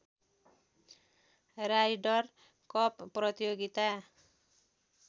rider Cup प्रतियोगिता